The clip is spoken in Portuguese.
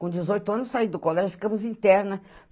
Com dezoito anos eu saí do colégio, ficamos interna.